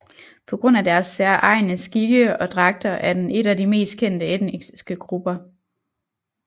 På grund af deres særegne skikke og dragter er den et af de mest kendte etniske grupper